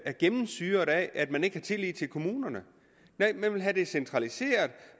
er gennemsyret af at man ikke har tillid til kommunerne man vil have det centraliseret og